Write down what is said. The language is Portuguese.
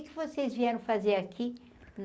Que que vocês vieram fazer aqui?